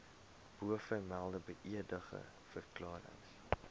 bovermelde beëdigde verklarings